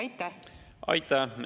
Aitäh!